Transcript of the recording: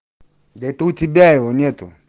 да это у тебя его нету